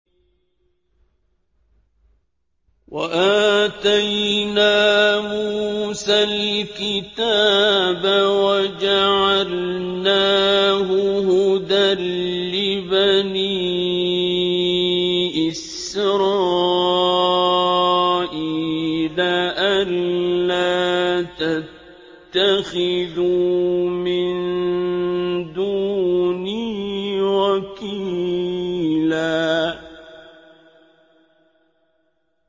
وَآتَيْنَا مُوسَى الْكِتَابَ وَجَعَلْنَاهُ هُدًى لِّبَنِي إِسْرَائِيلَ أَلَّا تَتَّخِذُوا مِن دُونِي وَكِيلًا